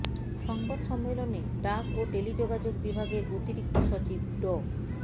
সংবাদ সম্মেলনে ডাক ও টেলিযোগাযোগ বিভাগের অতিরিক্ত সচিব ড